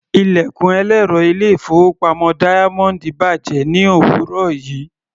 Ilẹ̀kùn ẹlẹ́rọ ilé-ìfowópamọ́ Diamond bàjẹ́ ní òwúrọ̀ yìí.